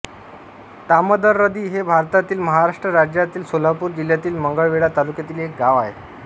तामदरदी हे भारतातील महाराष्ट्र राज्यातील सोलापूर जिल्ह्यातील मंगळवेढा तालुक्यातील एक गाव आहे